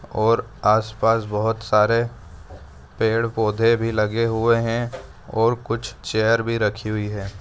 और आस पास बहुत सारे पेड़ पौधे भी लगे हुए है और कुछ चैयर भी रखी हुई है।